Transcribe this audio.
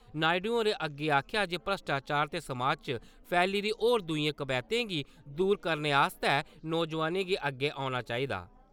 नायडु होरें अग्गै आखेआ जे भ्रश्टाचार ते समाज च फैली दी होर दूई कवैह्तें गी दूर करने आस्तै नौजुआनें गी अग्गै औना चाहिदा।